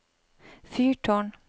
fyrtårn